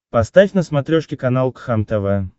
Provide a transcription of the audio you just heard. поставь на смотрешке канал кхлм тв